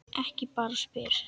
Ég bara spyr.